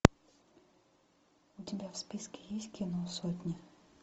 у тебя в списке есть кино сотня